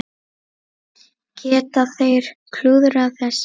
Geta þeir klúðrað þessu?